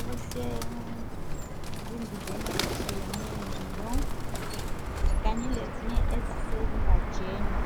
okusezimbizeni ezitshiyeneyo. Kanye lezinye izesizingajeni.